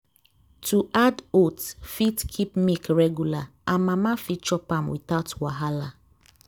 to add oats fit keep milk regular and mama fit chop am without wahala.